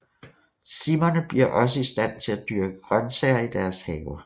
Simmerne bliver også i stand til at dyrke grøntsager i deres haver